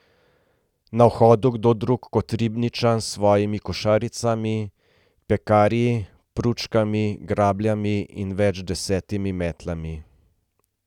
Na vhodu kdo drug kot Ribnčan s svojimi košaricami, pekarji, pručkami, grabljami in več deset metlami.